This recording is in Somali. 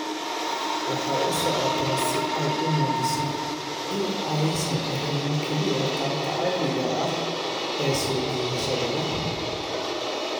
Waxay u socotaa si ay u muujiso in aysan ahayn kaliya qaababka caadiga ah ee soo jiidashada leh.